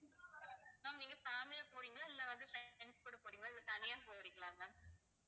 ma'am நீங்க family ஆ போறீங்களா இல்லை வந்து fr~ friends கூட போறீங்களா இல்லை தனியா போறீங்களா ma'am